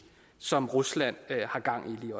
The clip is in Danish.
som rusland har gang i